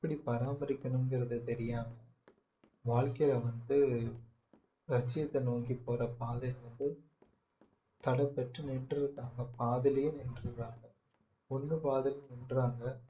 எப்படி பராமரிக்கணும்ங்கிறது தெரியாமல் வாழ்க்கையில வந்து லட்சியத்தை நோக்கி போற பாதை வந்து தடைப்பட்டு நின்று இருக்காங்க பாதியிலேயே நின்றுடுவாங்க ஒன்னு பாதியிலேயே நின்றாங்க